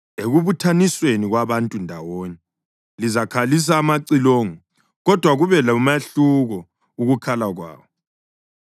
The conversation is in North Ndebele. Ekubuthanisweni kwabantu ndawonye, lizakhalisa amacilongo, kodwa kube lomahluko ukukhala kwawo.